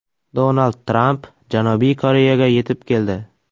Donald Tramp Janubiy Koreyaga yetib keldi.